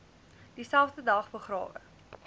dieselfde dag begrawe